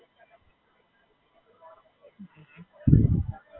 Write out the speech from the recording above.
અચ્છા.